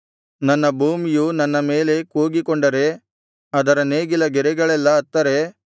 ನನ್ನ ಭೂಮಿಯು ನನ್ನ ಮೇಲೆ ಕೂಗಿಕೊಂಡರೆ ಅದರ ನೇಗಿಲ ಗೆರೆಗಳೆಲ್ಲಾ ಅತ್ತರೆ